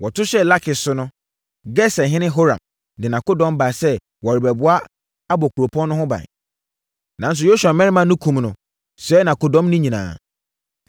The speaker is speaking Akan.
Wɔto hyɛɛ Lakis so no, Geserhene Horam de nʼakodɔm baa sɛ wɔrebɛboa abɔ kuropɔn no ho ban. Nanso Yosua mmarima no kumm no sɛee nʼakodɔm no nyinaa.